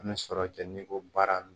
An bɛ sɔrɔ kɛ n'i ko baara